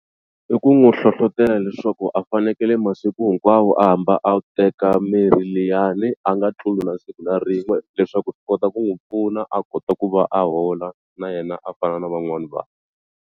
I ku n'wu hlohlotela leswaku a fanekele masiku hinkwawo a hamba a teka mirhi liyani a nga tluli na siku na rin'we leswaku swi kota ku n'wi pfuna a kota ku va a hola na yena a fana na van'wani vanhu.